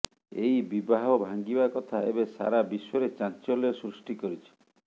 ଏହି ବିବାହ ଭାଁଙ୍ଗିବା କଥା ଏବେ ସାରା ବିଶ୍ୱରେ ଚାଂଚଲ୍ୟ ସୃଷ୍ଟି କରିଛି